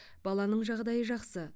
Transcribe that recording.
баланың жағдайы жақсы